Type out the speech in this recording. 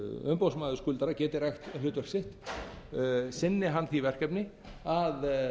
umboðsmaður skuldara geti rækt hlutverk sitt sinni hann því verkefni að